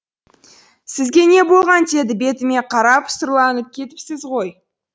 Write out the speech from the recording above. сізге не болған деді бетіме қарап сұрланып кетіпсіз ғой